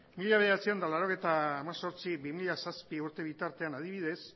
mila bederatziehun eta laurogeita hemezortzi bi mila zazpi urte bitartean adibidez